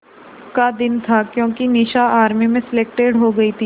का दिन था क्योंकि निशा आर्मी में सेलेक्टेड हो गई थी